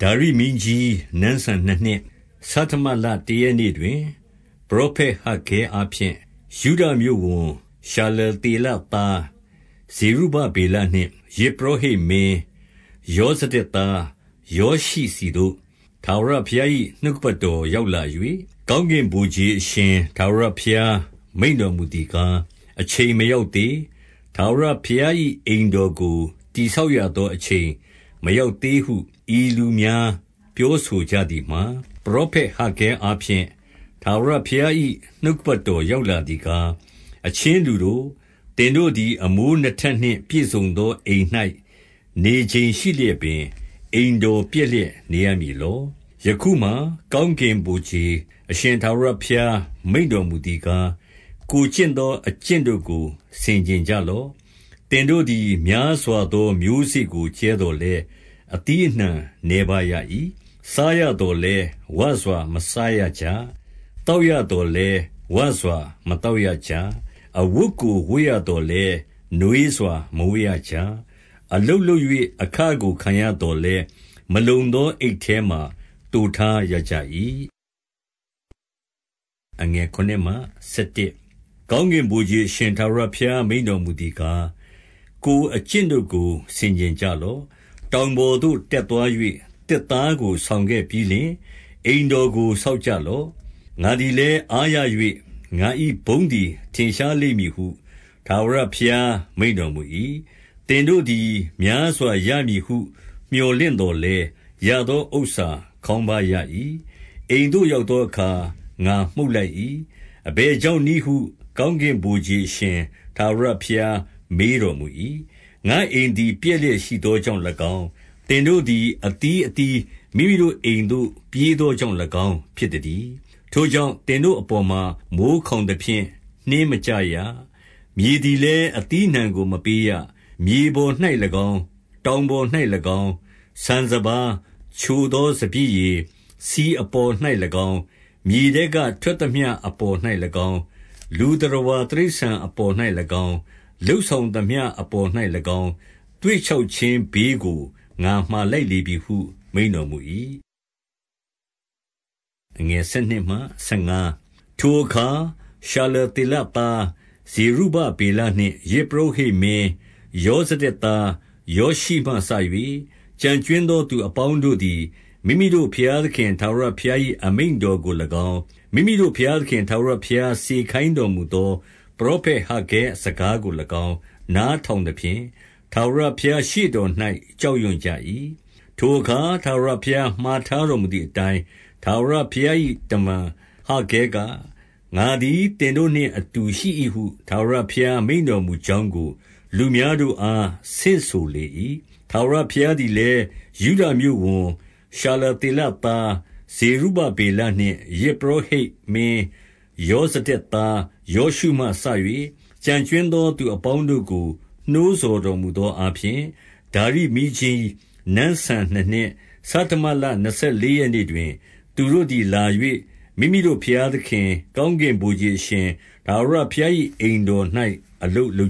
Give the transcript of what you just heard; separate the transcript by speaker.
Speaker 1: ဒါရိမင်းကြီးနန်းစံနှစ်နှစ်၊ ဆဌမလတရက်နေ့ တွင်၊ ပရောဖက်ဟဂ္ဂဲအားဖြင့် ယုဒမြို့ဝန်၊ ရှာလသေလ သား ဇေရုဗဗေလနှင့် ယဇ်ပုရောဟိတ်မင်း ယောဇဒက် သား ယောရှုဆီသို့ ထာဝရဘုရား၏နှုတ်ကပတ်တော် ရောက်လာ၍၊ 2 ကောင်းကင်ဗိုလ်ခြေအရှင် ထာဝရဘုရားမိန့် တော်မူသည်ကား၊ အချိန်မရောက်သေး၊ ထာဝရဘုရား၏ အိမ်တော်ကို တည်ဆောက်ရသော အချိန်မရောက်သေး ဟု၊ ဤလူများ ပြောဆိုကြသည်မှာ၊ 3 ပရောဖက် ဟဂ္ဂဲအားဖြင့် ထာဝရဘုရား၏ နှုတ် ကပတ်တော်ရောက်လာသည်ကား၊ 4 အချင်းလူတို့၊ သင်တို့သည် အမိုးနှစ်ထပ်နှင့် ပြည့်စုံသော အိမ်၌ နေချိန်ရှိလျက်ပင်၊ အိမ်တော်ပျက် လျက် နေရမည်လော။ 5 ယခုမှာ ကောင်းကင်ဗိုလ်ခြေအရှင် ထာဝရ ဘုရားမိန့်တော်မူသည်ကား၊ ကိုယ်ကျင့်သော အကျင့်တို့ ကို ဆင်ခြင်ကြလော့။ 6 သင်တို့သည် များစွာသော မျိုးစေ့ကို ကြဲသော် လည်း အသီးအနှံနည်းပါးရ၏။ စားရသော်လည်း ဝစွာ မစားရကြ။ သောက်သော်လည်း ဝစွာ မသောက်ရကြ။ အဝတ်ကို ဝတ်ရသော်လည်း နွေးစွာ မဝတ်ရကြ။ အလုပ် လုပ်၍ အခကို ခံရသော်လည်း မလုံသော အိတ်ထဲမှာ သိုထားရကြ၏။ 7 ကောင်းကင်ဗိုလ်ခြေအရှင် ထာဝရဘုရားမိန့် တော်မူသည်ကား၊ ကိုယ်အကျင့်တို့ကို ဆင်ခြင်ကြလော့။ 8 တောင်ပေါ်သို့ တက်သွား၍ သစ်သားကို ဆောင်ခဲ့ပြီးလျှင် အိမ်တော်ကို ဆောက်ကြလော့။ ငါသည် လည်း အားရ၍ ငါ၏ဘုန်းသည် ထင်ရှားလိမ့်မည်ဟု၊ ထာဝရဘုရား မိန့်တော်မူ၏။ 9 သင်တို့သည် များစွာရမည်ဟု မြော်လင့်သော် လည်း ရသောဥစ္စာခေါင်းပါးရ၏။ အိမ်သို့ ရောက်သော အခါ ငါမှုတ်လိုက်၏။ အဘယ်ကြောင့်နည်းဟု၊ ကောင်း ကင်ဗိုလ်ခြေအရှင် ထာဝရဘုရား မေးတော်မူ၏။ ငါ့အိမ် သည် ပျက်လျက်ရှိသောကြောင့်၎င်း၊ သင်တို့သည် အသီး အသီး မိမိတို့အိမ်သို့ ပြေးသောကြောင့်၎င်း ဖြစ်သတည်း။ 10 ထိုကြောင့် သင်တို့အပေါ်မှာ မိုဃ်းခေါင်သဖြင့် နှင်းမကျရ။ မြေသည်လည်း အသီးအနှံကို မပေးရ။ 11 မြေပေါ်၌၎င်း၊ တောင်ပေါ်၌၎င်း၊ ဆန်စပါး၊ ချိုသောစပျစ်ရည်၊ ဆီအပေါ်၌၎င်း၊ မြေထဲကထွက်သမျှ အပေါ်၌၎င်း၊ လူသတ္တဝါတိရစ္ဆာန်အပေါ်၌၎င်း၊ လုပ် ဆောင်သမျှအပေါ်၌၎င်း၊ သွေ့ခြောက်ခြင်းဘေးကို ငါမှာ လိုက်လေပြီဟု မိန့်တော်မူ၏။ 12 ထိုအခါ ရှာလသေလသား ဇေရုဗဗေလနှင့် ယဇ်ပုရောဟိတ်မင်း ယောဇဒက်သား ယောရှုမှစ၍ ကျန် ကြွင်းသော သူအပေါင်းတို့သည် မိမိတို့ဘုရားသခင် ထာဝရဘုရား၏အမိန့်တော်ကို၎င်း၊ မိမိတို့ ဘုရားသခင် ထာဝရဘုရားစေခိုင်းတော်မူသောပရောဖက်ဟဂ္ဂဲစကားကို ၎င်း နားထောင်သဖြင့်၊ ထာဝရဘုရားရှေ့တော်၌ ကြောက်ရွံ့ကြ၏။ 13 ထိုအခါ ထာဝရဘုရားမှာထားတော်မူသည် အတိုင်း ထာဝရဘုရား၏ တမန်ဟဂ္ဂဲက၊ ငါသည် သင်တို့ နှင့်အတူရှိ၏ဟု၊ ထာဝရဘုရား မိန့်တော်မူကြောင်းကို လူများတို့အား ဆင့်ဆိုလေ၏။ 14 ထာဝရဘုရားသည်လည်း၊ ယုဒမြို့ဝန်၊ ရှာလ သေလသား ဇေရုဗဗေလနှင့် ယဇ်ပုရောဟိတ်မင်း ယော ဇဒက်သား ယောရှုမှစ၍ ကျန်ကြွင်းသော သူအပေါင်းတို့ ကို နှိုးဆော်တော်မူသောအားဖြင့်၊ 15 ဒါရိမင်းကြီး နန်းစံနှစ်နှစ်၊ ဆဌမလနှစ်ဆယ် လေးရက်နေ့တွင်၊ သူတို့သည် လာ၍ မိမိတို့ဘုရားသခင်၊ ကောင်းကင်ဗိုလ်ခြေအရှင် ထာဝရဘုရား၏အိမ်တော်၌ အလုပ်လု